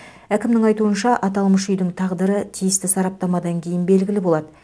әкімнің айтуынша аталмыш үйдің тағдыры тиісті сараптамадан кейін белгілі болады